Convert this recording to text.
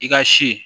I ka si